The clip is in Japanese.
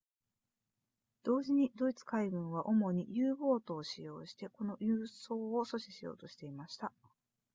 同時にドイツ海軍は主に u ボートを使用してこの輸送を阻止しようとしていました